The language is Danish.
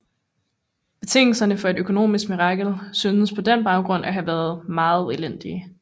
Betingelserne for et økonomisk mirakel syntes på den baggrund at have været meget elendige